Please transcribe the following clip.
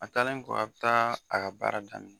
A taalen kɔ a bɛ taa a ka baara daminɛ.